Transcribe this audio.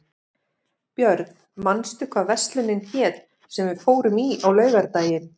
Björn, manstu hvað verslunin hét sem við fórum í á laugardaginn?